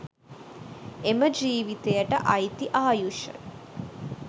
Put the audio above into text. එම ජීවිතයට අයිති ආයුෂ